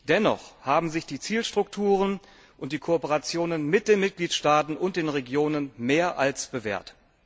Dennoch haben sich die Zielstrukturen und die Kooperationen mit den Mitgliedstaaten und den Regionen mehr als bewährt.